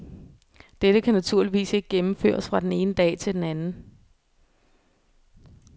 Dette kan naturligvis ikke gennemføres fra den ene dag til den anden.